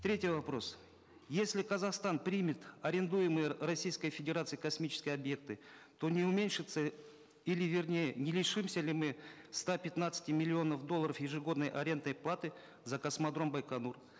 третий вопрос если казахстан примет арендуемые российской федерацией космические объекты то не уменьшится или вернее не лишимся ли мы ста пятнадцати миллионов долларов ежегодной арендной платы за космодром байконур